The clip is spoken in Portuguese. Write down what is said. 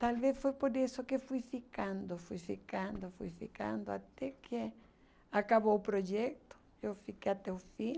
Talvez foi por isso que fui ficando, fui ficando, fui ficando, até que acabou o projeto, eu fiquei até o fim.